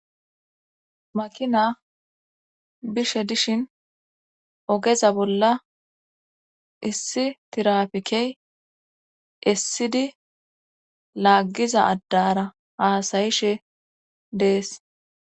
Makina bishe dishin ogeza bolla issi tirapikey issidi laaggiza addara haasayishe dees.